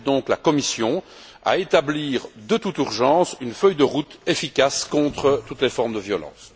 J'appelle donc la Commission à établir de toute urgence une feuille de route efficace contre toutes les formes de violence.